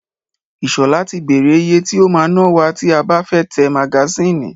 Ìṣọ̀lá ti bèrè ìyè tí o máa ná wa tí a bá fẹ́ tẹ magasínì.